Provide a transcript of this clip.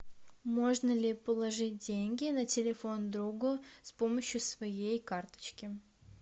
можно ли положить деньги на телефон другу с помощью своей карточки